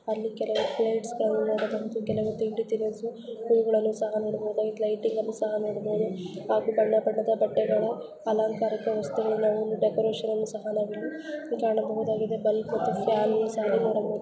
ಅಲ್ಲಿ ಕೆಲವು ಪ್ಲೇಟ್ಸ್ ಗಳನ್ನೂ ನೋಡಬಹುದು ಕೆಲವು ತಿಂಡಿ ತಿನಿಸು ಹೂವುಗಳನ್ನು ಸಹ ನೋಡಬಹುದು ಲ್ಯಾಯಿಟಿಂಗ್ ಅನ್ನು ಸಹ ನೋಡಬಹುದು ಹಾಗು ಬಣ್ಣ ಬಣ್ಣದ ಬಟ್ಟೆಗಳ ಅಲಂಕಾರಿಕ ವಸ್ತುಗಳ ಡೆಕೋರೇಷನ್ ನು ಸಹ ನಾವು ಇಲ್ಲಿ ಕಾಣಬಹುದಾಗಿದೆ ಬಲ್ಬ್ ಮತ್ತು ಫ್ಯಾನ್ ನು ಸಹ ನೋಡಬಹುದ.